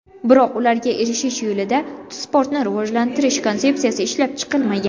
Biroq ularga erishish yo‘lida sportni rivojlantirish konsepsiyasi ishlab chiqilmagan.